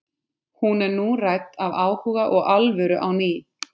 Hún er nú rædd af áhuga og alvöru á ný.